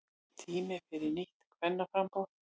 Tími fyrir nýtt kvennaframboð